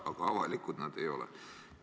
Aga avalikud need andmed ei ole.